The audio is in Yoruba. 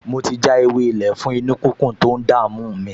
Mo ti já ewé-ilé fún inú-kíkún tó ń dààmú mi